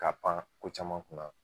Ka pan ko caman kun na